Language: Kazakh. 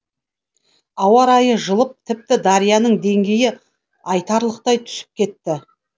ауа райы жылып тіпті дарияның деңгейі айтарлықтай түсіп кетті